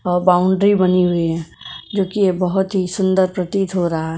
Boundary बनी हुई है जो कि ये बहुत ही सुंदर प्रतीत हो रहा है।